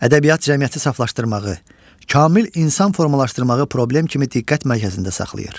Ədəbiyyat cəmiyyəti saflaşdırmağı, kamil insan formalaşdırmağı problem kimi diqqət mərkəzində saxlayır.